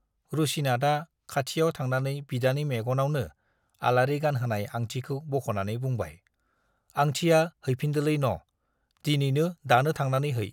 रुसिनाथआ खाथियाव थांनानै बिदानि मेगनावनो आलारि गानहोनाय आंथिखौ बख'नानै बुंबाय, आंथिया हैफिनदोलै न, दिनैनो दानो थांनानै है।